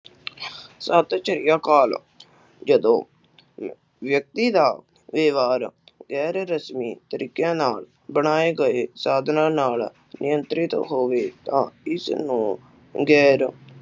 ਸਤਿ ਸ਼੍ਰੀ ਅਕਾਲ ਜਦੋ ਵਿਅਕਤੀ ਦਾ ਵਿਵਹਾਰ ਗੈਰ ਰਸਮੀ ਤਰੀਕਿਆਂ ਨਾਲ ਬਣਾਏ ਗਏ ਸਾਧਨਾ ਨਾਲ ਨਿਯੰਤ੍ਰਿਤ ਹੋਵੇ ਤਾਂ ਇਸਨੂੰ ਗੈਰ